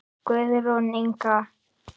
Guðrún Inga.